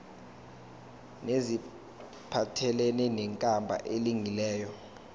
neziphathelene nenkambo elungileyo